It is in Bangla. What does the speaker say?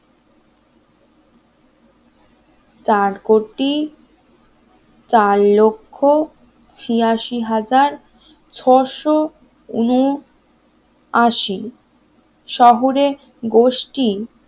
চার কোটি চালক্ষ্য ছিয়াশি হাজার ছয়শ উন আশি শহরের গোষ্ঠী